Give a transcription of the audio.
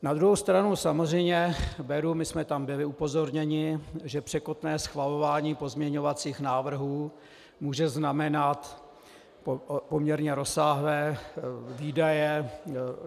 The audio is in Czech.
Na druhou stranu samozřejmě beru, my jsme tam byli upozorněni, že překotné schvalování pozměňovacích návrhů může znamenat poměrně rozsáhlé výdaje.